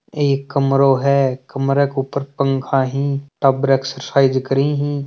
एक कमरों है कमरा के ऊपर पंखा है तब र एक्सरसाइज करे ही।